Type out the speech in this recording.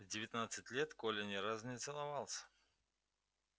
в девятнадцать лет коля ни разу не целовался